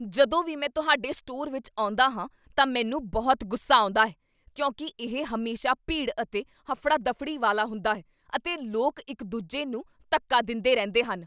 ਜਦੋਂ ਵੀ ਮੈਂ ਤੁਹਾਡੇ ਸਟੋਰ ਵਿੱਚ ਆਉਂਦਾ ਹਾਂ ਤਾਂ ਮੈਨੂੰ ਬਹੁਤ ਗੁੱਸਾ ਆਉਂਦਾ ਹੈ ਕਿਉਂਕਿ ਇਹ ਹਮੇਸ਼ਾ ਭੀੜ ਅਤੇ ਹਫੜਾ ਦਫੜੀ ਵਾਲਾ ਹੁੰਦਾ ਹੈ ਅਤੇ ਲੋਕ ਇੱਕ ਦੂਜੇ ਨੂੰ ਧੱਕਾ ਦਿੰਦੇਰਹਿੰਦੇ ਹਨ